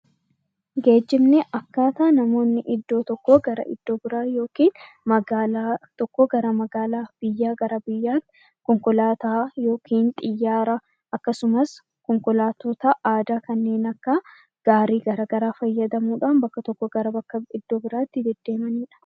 Geejjibni akkaataa namoonni iddoo tokkoo gara iddoo biraa yookaan magaalaa tokkoo gara magaalaa biraa konkolaataa , xiyyaara akkasumas konkolaattota aadaa kanneen akka gaarii garaagaraa fayyadamuudhaan bakka tokkoo iddoo biraatti deemanidha.